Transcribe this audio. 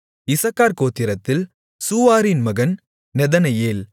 இசக்கார் கோத்திரத்தில் சூவாரின் மகன் நெதனெயேல்